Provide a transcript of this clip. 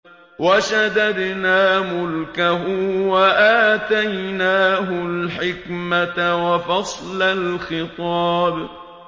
وَشَدَدْنَا مُلْكَهُ وَآتَيْنَاهُ الْحِكْمَةَ وَفَصْلَ الْخِطَابِ